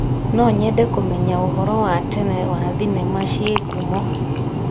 No nyende kũmenya ũhoro wa tene wa thenema ci ngumo.